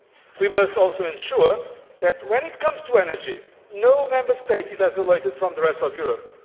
We must also ensure that, when it comes to energy, no Member State is isolated from the rest of Europe.